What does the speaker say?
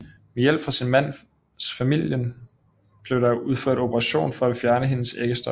Med hjælp fra sin mands familien blev der udført operation for at fjerne hendes æggestokke